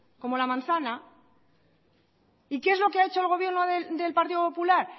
como la manzana y qué es lo que ha hecho el gobierno del partido popular